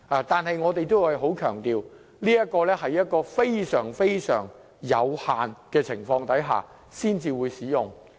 不過，我們仍要強調，它必須在非常有限的情況下，才會被行使。